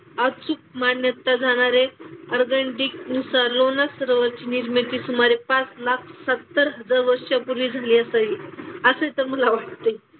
मान्यता जाणारे सरोवराची निर्मिती सुमारे पाच लाख सत्तर हजार वर्षांपूर्वी झाली असावी. असे तर मला वाटते.